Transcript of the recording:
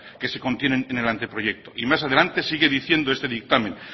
que se contienen en el anteproyecto y más adelante sigue diciendo este dictamen